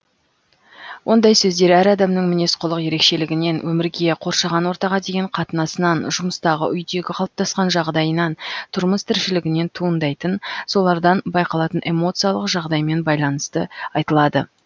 ондай сөздер әр адамның мінез құлық ерекшелігінен өмірге қоршаған ортаға деген қатынасынан жұмыстағы үйдегі қалыптасқан жағдайынан тұрмыс тіршілігінен туындайтын солардан байқалатын эмоциялық жағдаймен байланысты айтылады